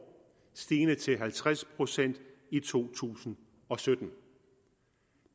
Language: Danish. stigende til halvtreds procent i to tusind og sytten